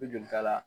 I joli t'a la